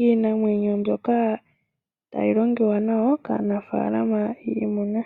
iinamwenyo yomoofaalama.